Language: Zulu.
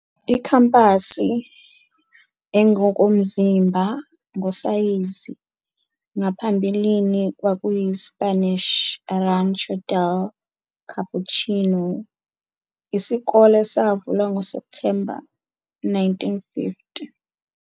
Ikhampasi engokomzimba, ngosayizi, ngaphambili kwakuyi-Spanish "Rancho del Capuchino."Isikole savulwa ngoSepthemba 1950.